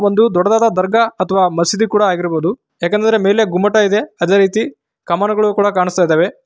ಒಂದು ದೊಡ್ಡದಾದ ದರ್ಗಾ ಅಥವಾ ಮಸೀದಿ ಕೂಡ ಆಗಿರಬಹುದು. ಯಾಕೆಂದರೆ ಮೇಲೆ ಗುಮ್ಮಟ ಇದೆ ಅದೇ ರೀತಿ ಕಾಮಾನುಗಳು ಕೂಡ ಕಾಣಿಸ್ತಾ ಇದ್ದಾವೆ.